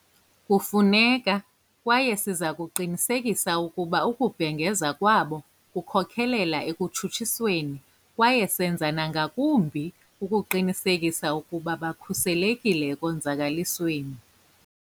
Kufuneka, kwaye siza kuqinisekisa ukuba ukubhengeza kwabo kukhokelela ekutshutshisweni kwaye senza nangakumbi ukuqinisekisa ukuba bakhuselekile ekonzakalisweni.